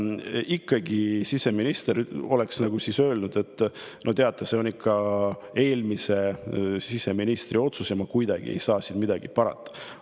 Ikkagi, siseminister oleks nagu öelnud, et teate, see on eelmise siseministri otsus ja tema ei saa siin midagi parata.